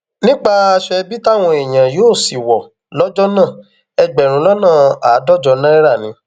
nípa aṣọ ẹbí táwọn èèyàn yóò sì wọ lọjọ náà ẹgbẹrún lọnà àádọjọ náírà ni